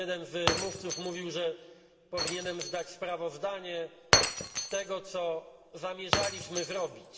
Jeden z mówców mówił, że powinienem zdać sprawozdanie z tego, co zamierzaliśmy zrobić.